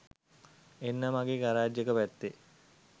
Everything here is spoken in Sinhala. එන්න මගේ ගරාජ් එක පැත්තෙ.